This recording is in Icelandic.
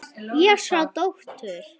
Ég sá dóttur.